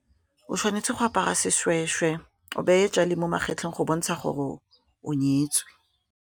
O tshwanetse go apara sešwešwe o beye tšale mo magetleng go bontsha gore o nyetswe.